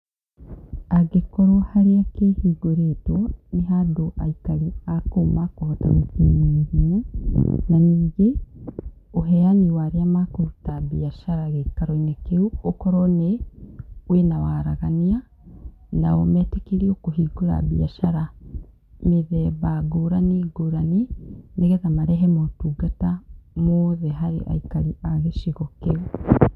Angĩkorwo harĩa kĩhingũrĩtwo, nĩ handũ aikari a kũu makohota gũkinya naihenya. Na ningĩ, ũheani wa arĩa makũruta mbiacara gĩikaro-inĩ kĩu, ũkorwo nĩ, wĩna waaragania, nao meetĩkĩrio kũhingũra mbiacara mĩthemba ngũrani ngũrani, nĩgetha marehe maũtungata mothe harĩ aikari a gĩcigo kĩu.